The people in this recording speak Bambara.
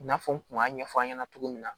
I n'a fɔ n kun b'a ɲɛfɔ an ɲɛna cogo min na